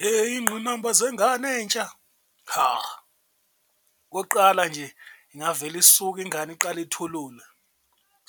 Heyi iy'ngqinamba zengane entsha ha, okokuqala nje ingavele isuke ingane iqale ithulule